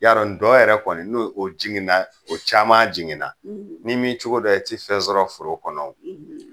Yarɔ ntɔn yɛrɛ kɔni n'o o jiginna o caman jiginna ni min cogo dɔ i ti fɛn sɔrɔ foro kɔnɔ o